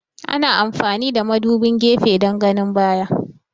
Ana amfani da madubin gefe dan ganin baya